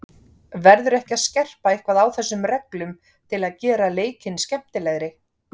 Verður ekki að skerpa eitthvað á þessum reglum til að gera leikinn skemmtilegri?